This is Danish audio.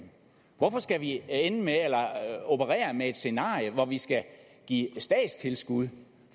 hvorfor skal vi operere med et scenarie hvor vi skal give statstilskud